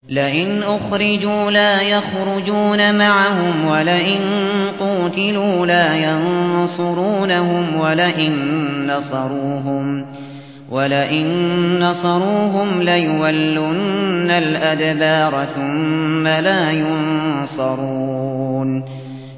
لَئِنْ أُخْرِجُوا لَا يَخْرُجُونَ مَعَهُمْ وَلَئِن قُوتِلُوا لَا يَنصُرُونَهُمْ وَلَئِن نَّصَرُوهُمْ لَيُوَلُّنَّ الْأَدْبَارَ ثُمَّ لَا يُنصَرُونَ